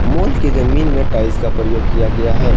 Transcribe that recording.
Mall की जमीन में टाइल्स का प्रयोग किया गया है।